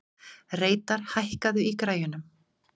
Reidar, hækkaðu í græjunum.